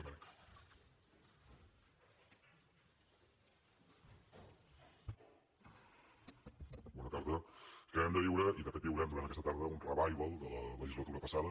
acabem de viure i de fet viurem durant aquesta tarda un revival de la legislatura passada